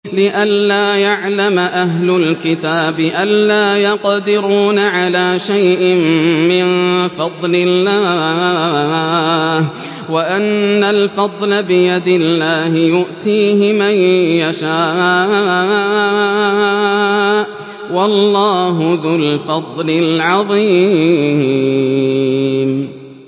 لِّئَلَّا يَعْلَمَ أَهْلُ الْكِتَابِ أَلَّا يَقْدِرُونَ عَلَىٰ شَيْءٍ مِّن فَضْلِ اللَّهِ ۙ وَأَنَّ الْفَضْلَ بِيَدِ اللَّهِ يُؤْتِيهِ مَن يَشَاءُ ۚ وَاللَّهُ ذُو الْفَضْلِ الْعَظِيمِ